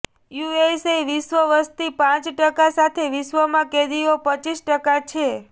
USA વિશ્વ વસ્તી પાંચ ટકા સાથે વિશ્વમાં કેદીઓ પચીસ ટકા છે